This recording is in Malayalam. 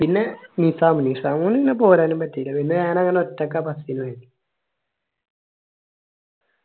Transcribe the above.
പിന്നെ നിസാം നിസാം പിന്നെ പോരാനും പറ്റിയില്ല പിന്നെ ഞാനങ്ങനെ ഒറ്റക്കാ bus നു പോയി